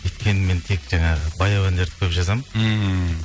өйткені мен тек жаңағы баяу әндерді көп жазамын мхм